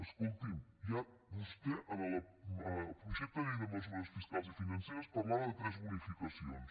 escolti’m ja vostè en el projecte de llei de mesures fiscals i financeres parlava de tres bonificacions